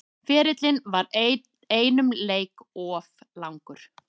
Ferillinn var einum leik of langur